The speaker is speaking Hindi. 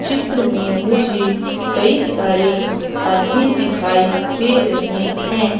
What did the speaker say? चित्र में मुझे कई सारे आदमी दिखाई दे रहे है।